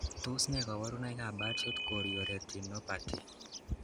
Tos nee koborunoikab Birdshot chorioretinopathy.